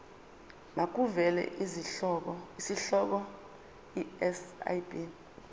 makuvele isihloko isib